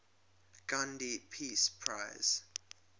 gandhi peace prize